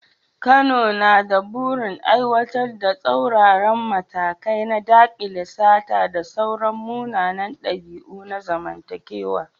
Kano na da burin aiwatar da tsauraran matakai na dakile sata da sauran munanan dabi’u na zamantakewa.